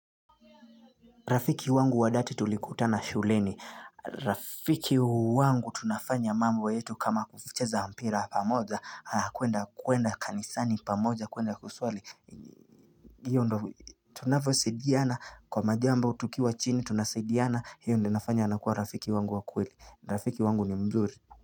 Rafiki wangu wa dhati tulikutana shuleni. Rafiki wangu tunafanya mambo yetu kama kucheza mpira pamoja, kuenda kanisani pamoja, kuenda kuswali. Hiyo ndo tunavyosidiana. Kwa majambo tukiwa chini tunasaidiana. Hiyo ndo inafanya anakuwa rafiki wangu wa kweli. Rafiki wangu ni mzuri.